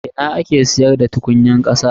A ina ake siyarda tukunyar kasa.